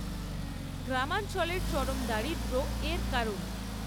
গ্রামাঞ্চলের চরম দারিদ্র্য এর কারণ।